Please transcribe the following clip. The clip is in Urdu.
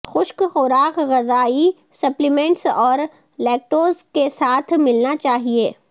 خشک خوراک غذایی سپلیمنٹس اور لییکٹوز کے ساتھ ملنا چاہئے